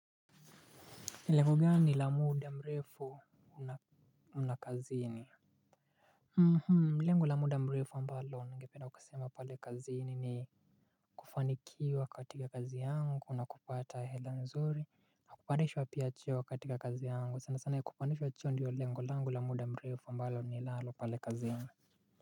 Lengo gani la muda mrefu mna kazini. Lengo la muda mrefu ambalo ningependa kusema pale kazini ni kufanikiwa katika kazi yangu na kupata hela nzuri. Kupandishwa pia cheo katika kazi yangu sana sana kupandishwa cheo ndiyo lengo langu la muda mrefu ambalo ninalo pale kazini.